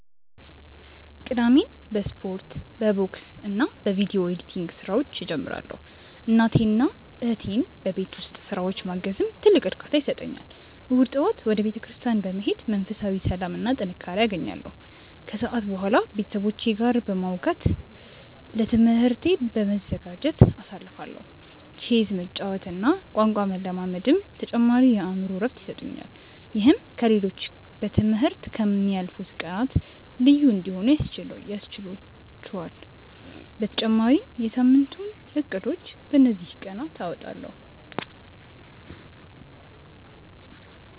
ቅዳሜን በስፖርት፣ በቦክስና በቪዲዮ ኤዲቲንግ ስራዎች እጀምራለሁ። እናቴንና እህቴን በቤት ውስጥ ስራዎች ማገዝም ትልቅ እርካታ ይሰጠኛል። እሁድ ጠዋት ወደ ቤተክርስቲያን በመሄድ መንፈሳዊ ሰላምና ጥንካሬ አገኛለሁ፤ ከሰዓት በኋላ ከቤተሰቦቼ ጋር በማውጋትና ለትምህርቴ በመዘጋጀት አሳልፋለሁ። ቼዝ መጫወትና ቋንቋ መለማመድም ተጨማሪ የአእምሮ እረፍት ይሰጡኛል። ይህም ከ ሌሎቹ በ ትምህርት ከ ምያልፉት ቀናት ልዩ እንዲሆኑ ያስችህላቹአል በተጨማሪም የ ሳምንቱን እቅዶችን በ እንዚህ ቀናት አወጣለሁ።